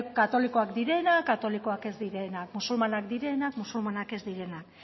katolikoak direnak katolikoak ez direnak musulmanak direnak musulmanak ez direnak